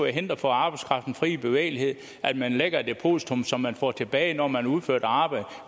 hinder for arbejdskraftens fri bevægelighed at man lægger et depositum som man får tilbage når man har udført arbejdet